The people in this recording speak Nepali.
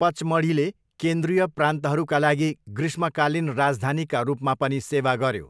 पचमढीले केन्द्रीय प्रान्तहरूका लागि ग्रीष्मकालीन राजधानीका रूपमा पनि सेवा गर्यो।